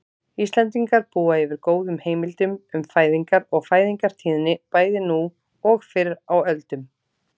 Íslendingar búa yfir góðum heimildum um fæðingar og fæðingartíðni bæði nú og fyrr á öldum.